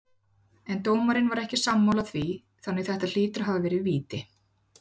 En dómarinn var ekki sammála því þannig þetta hlýtur að hafa verið víti.